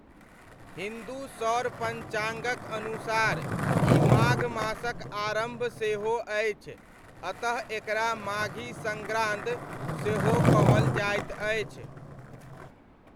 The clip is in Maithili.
हिन्दू सौर पञ्चाङ्गक अनुसार ई माघ मासक आरम्भ सेहो अछि, अतः एकरा 'माघी सङ्ग्रान्द' सेहो कहल जाइत अछि।